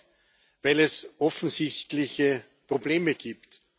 Negativ, weil es offensichtliche Probleme gibt.